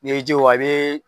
N'i jowa bɛ.